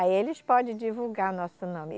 Aí eles podem divulgar nosso nome.